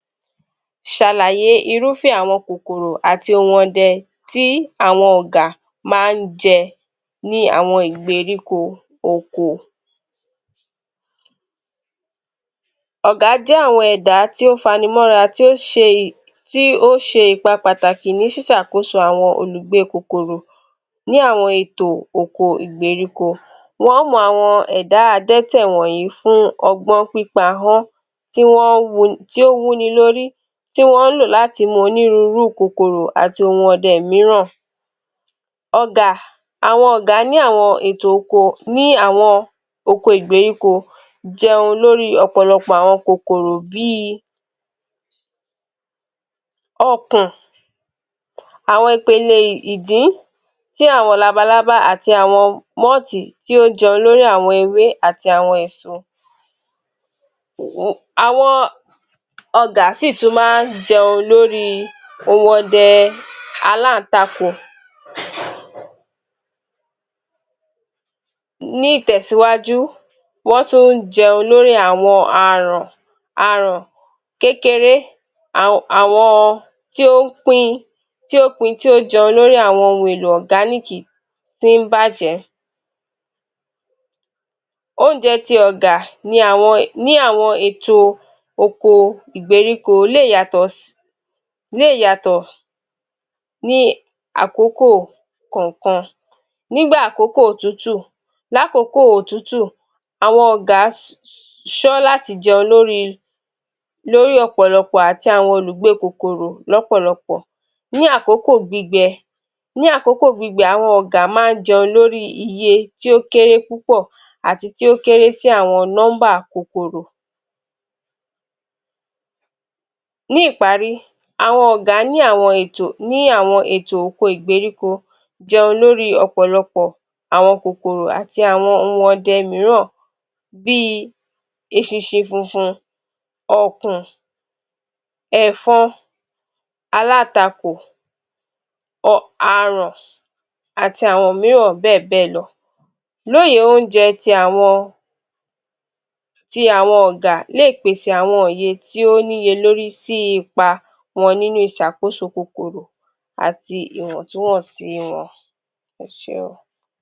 Ṣàlàyé irúfẹ́ àwọn kòkòrò àti ohun ọdẹ tí àwọn Ọ̀gà ma ń jẹ ní àwọn ìgbèríko oko. Ọ̀gà jẹ́ àwọn ẹ̀dá tí ó fanimọ́ra, tí ó ṣe ì ti o ṣe ìpa pàtàkì ni ṣisàkóso àwọn olùgbé kòkòrò. Ní àwọn ètò oko ìgbèríko, Wọ́n mọ̀ àwọn ẹ̀dá adẹ́tẹ̀ wọ̀nyí fún ọgbọ́n pípa Wọ́n, tí Wọ́n wu, tí ó wú ni lórí, ti Wọ́n lò láti mọ oníruuru kòkòrò àti ohun ọdẹ míràn. Ọ̀gà, àwọn Ọ̀gà ní àwọn ètò oko ní àwọn oko ìgbèríko jẹun lóri ọ̀pọ̀lọpọ̀ àwọn kòkòrò bí i ọ̀kùn, àwọn ipele ìdín tí àwọn labalábá àti àwọn mọ́ọ̀tì tí ó jẹun lórí àwọn ewé àti àwọn èso Àwọn ọgà sì tún máa ń jẹun lórí ohun ọdẹ aláǹtakò Ní ìtẹ̀síwájú, wón tún ń jẹun lórí àwọn àràn, aràn kékeré aun àwọn tí ó pín, tí ó pin tí ó jẹun lórí àwọn ohun èlò ọ̀gániiki tí ń bàjẹ́. Oúnjẹ ti Ọ̀gà ni àwọn, ní àwọn ètò oko ìgbèríko lè yàtọ̀ lè yàtọ̀ ní àkókò kànkan. Nígbà àkókò òtútù, lákókò òtútù, àwọn ọ̀gà ṣọ láti jẹun lórí i, lórí ọ̀pọ̀lọpọ̀. Ní àkókò gbígbẹ, ní àkókò gbígbẹ, àwọn Ọ̀gà máa ń jẹun lórí iye tí ó kéré púpọ̀ àti tí ó kéré sí àwọn nọ́mbà kòkòrò. Ní ìparí, àwọn Ọ̀gà ní àwọn ètò, ní àwọn ètò oko ìgbèríko jẹun lórí ọ̀pọ̀lọpọ̀ àwọn kòkòrò àti àwọn ohun ọdẹ míràn bii eṣinṣi funfun, Ọ̀kùn, ẹ̀fọ́n, alàtakò ọ aràn àti àwọn míràn bẹ́ẹ̀bẹ́ẹ̀ lọ. Lóye oúnjẹ tí àwọn tí àwọn Ọ̀gà lé è pèsè àwọn òye tí ó níye lórí sí ipa wọn nínú ìṣàkóso kòkòrò àti ìwọ̀ntúwọ̀nsì wọn. Ẹ ṣe.